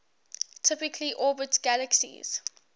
typically orbit galaxies